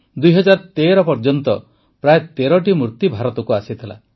୨୦୧୩ ପର୍ଯ୍ୟନ୍ତ ପ୍ରାୟ ତେରଟି ମୂର୍ତ୍ତି ଭାରତକୁ ଆସିଥିଲା